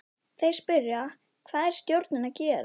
Þeir spyrja: Hvað er stjórinn að gera?